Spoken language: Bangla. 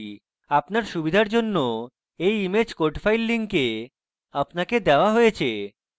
আপনার সুবিধার জন্য এই ইমেজ code files link আপনাকে দেওয়া হয়েছে